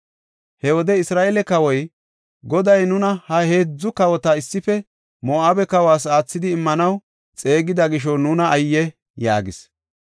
He wode Isra7eele kawoy, “Goday nuna ha heedzu kawota issife Moo7abe kawas aathidi immanaw xeegida gisho nuna ayye!” yaagis.